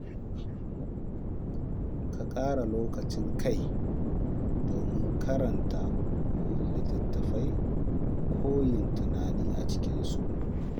Ka ƙara lokacin kai domin karanta littattafai ko yin tunani a cikinsu.